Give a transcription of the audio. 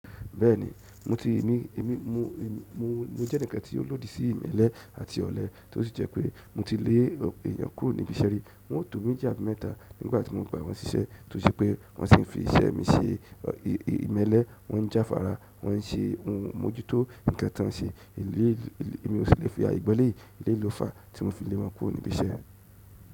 Bẹ́ẹ̀ni emi mo je enikan ti o lodi si imele àti ole, to si je mo ti le eeyan kúrò nibi iṣẹ́ ri. Wọ́n ó to méjì àbí mẹ́tà nígbà tí mo gba wọn síṣẹ́ tó ṣe pé wọ́n sì ń fi iṣẹ́ mi ṣe ìmẹ́lẹ́, wọ́n ń já fara, wọ́n ń ṣe ohun, mo jó tó ǹkan tí wọ́n ń ṣe, mi ò sí lè fi aye gba eleyi eléyi lo fàá tí mo fi lé wọn kúrò níbi iṣẹ́.